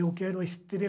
Eu quero a estrela